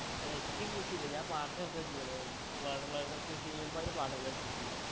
അല്ല എക്ക് കൃഷി ഇല്ല ഞാൻ പാട്ടത്തിനെടുത്താ ചെയ്യണത് വെറുള്ളോരൊക്കെ കൃഷി ചെയ്യുമ്പോ അയില് പാട്ടത്തിനെടുത്ത് ചെയ്യാ